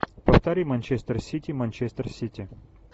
повтори манчестер сити манчестер сити